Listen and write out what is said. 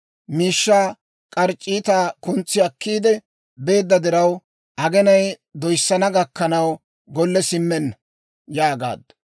Miishshaa k'arc'c'iitaa kuntsi akkiide beedda diraw, agenay doyssana gakkanaw golle simmenna» yaagaaddu.